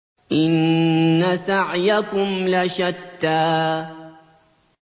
إِنَّ سَعْيَكُمْ لَشَتَّىٰ